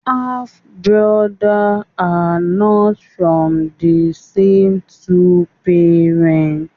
Half brother are not from the same two parents